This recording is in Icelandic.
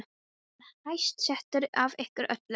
Ég er hæst settur af ykkur öllum!